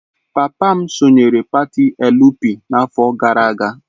Papa m sonyeere pati Elu Pi n'afọ gara aga.